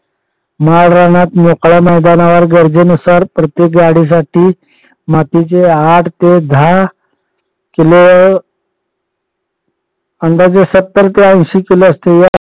माळरानात मोकळ्या मैदानावर गरजेनुसार प्रत्येक गाडीसाठी मातीचे आठ ते दहा किलो अंदाजे ऐंशी ते सत्तर किलो असतील